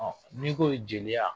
N'i ko jeliya